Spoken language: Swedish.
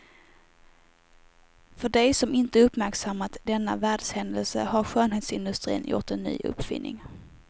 För dig som inte uppmärksammat denna världshändelse har skönhetsindustrin gjort en ny uppfinning.